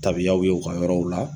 Tabiyaw ye u ka yɔrɔw la